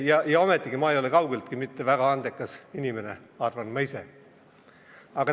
Ja ometi ma ei ole kaugeltki mitte väga andekas inimene, ma ise arvan nii.